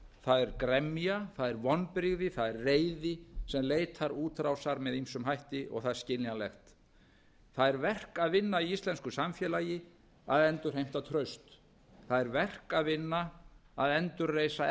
það er gremja það er vonbrigði það er reiði sem leitar útrásar með ýmsum hætti og það er skiljanlegt það er verk að vinna í íslensku samfélagi að endurheimta traust það er verk að vinna að endurreisa